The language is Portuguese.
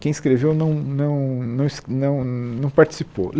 Quem escreveu não não não es não não participou.